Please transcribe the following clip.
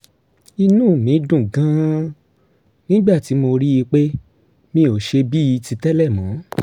inú mi dùn gan-an nígbà tí mo rí i pé mi ò ṣe bíi ti tẹ́lẹ̀ mọ́